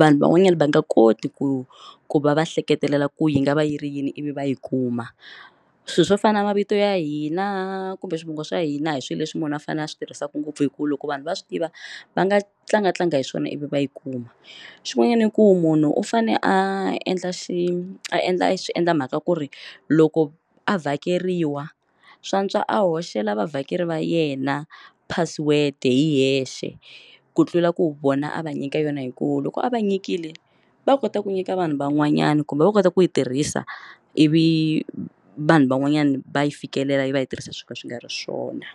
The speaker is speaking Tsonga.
vanhu van'wanyana va nga koti ku ku va va hleketelela ku yi nga va yi ri yini ivi va yi kuma swilo swo fana na mavito ya hina kumbe swivongo swa hina hi swilo leswi munhu a fanele a swi tirhisaku ngopfu hi ku loko vanhu va swi tiva va nga tlangatlanga hi swona ivi va yi kuma xin'wanyana i ku munhu u fane a endla xi endla xi endla mhaka ku ri loko a vhakeriwa swantswa a hoxela va vhakeri va yena password hi yexe ku tlula ku vona a va nyika yona hi ku loko a va nyikile va kota ku nyika vanhu van'wanyana kumbe va kota ku yi tirhisa ivi vanhu van'wanyani va yi fikelela va yi tirhisa swo ka swi nga ri swona.